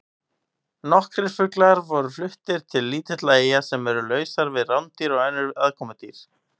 Nokkrir fuglar voru fluttir til lítilla eyja sem eru lausar við rándýr og önnur aðkomudýr.